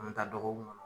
An mi taa dɔgɔkun kɔnɔ